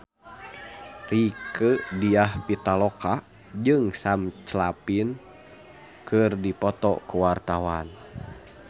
Rieke Diah Pitaloka jeung Sam Claflin keur dipoto ku wartawan